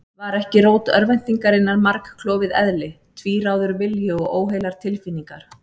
Var ekki rót örvæntingarinnar margklofið eðli, tvíráður vilji og óheilar tilfinningar?